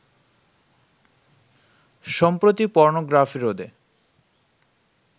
সম্প্রতি পর্নোগ্রাফি রোধে